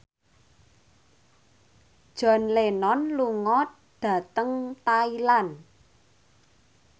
John Lennon lunga dhateng Thailand